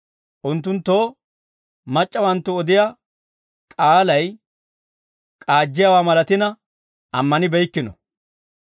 Unttunttoo mac'c'awanttu odiyaa k'aalay k'aajjiyaawaa malatina ammanibeykkino.